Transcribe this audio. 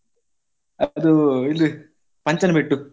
ಅದು ಇದು Panchanabettu .